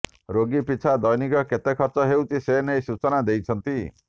ରୋଗୀ ପିଛା ଦୈନିକ କେତେ ଖର୍ଚ୍ଚ ହେଉଛି ସେନେଇ ସୂଚନା ଦେଇଛନ୍ତି